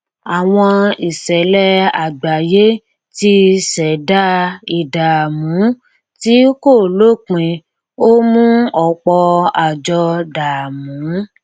àwọn ìṣẹlẹ àgbáyé ti ṣẹdá ìdààmú tí kò lópin ó mú ọpọ àjọ dààmú